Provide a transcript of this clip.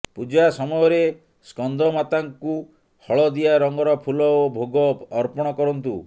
ପୂଜା ସମୟରେ ସ୍କନ୍ଦମାତାଙ୍କୁ ହଳଦିଆ ରଙ୍ଗର ଫୁଲ ଓ ଭୋଗ ଅର୍ପଣ କରନ୍ତୁ